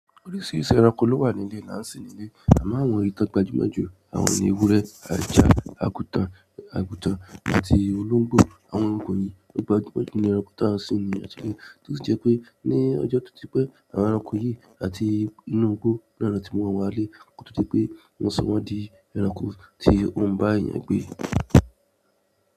Oríṣiríṣi ẹranko ló wà ní ilẹ̀-- lán sín nílé. Àmo àwọn ikan gbajumo ju. Àwọn ni ewúrẹ́, ajá, àgùtàn àti olóńgbò. Àwọn ẹranko yìí to gbajumo ju ní ẹranko tí an sìn ní etile. Tosi je pé ní ọjọ́ tó ti pẹ́, àwọn ẹranko yìí àti inú igbó náà ni won tí mu wọ́n wá lé. Ko tó jẹ́ pé wọn sọ wọ́n di ẹranko tí òún bá èèyàn gbé.